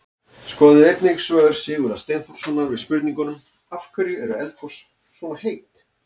Skoðið einnig svör Sigurðar Steinþórssonar við spurningunum: Af hverju eru eldgos svona heit?